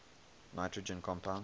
nitrogen compounds